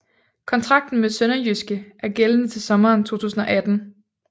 Kontrakten med SønderjyskE er gældende til sommeren 2018